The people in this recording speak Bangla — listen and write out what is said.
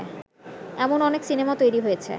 এমন অনেক সিনেমা তৈরী হয়েছে